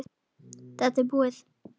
Þetta er búið.